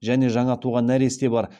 және жаңа туған нәресте бар